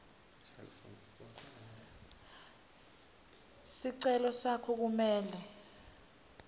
sicelo sakho kumele